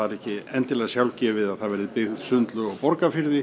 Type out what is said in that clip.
ekki endilega sjálfgefið að það verði byggð sundlaug á Borgarfirði